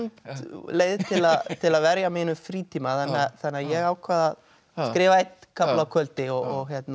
leið til til að verja mínum frítíma þannig að ég ákvað að skrifa einn kafla á kvöldi og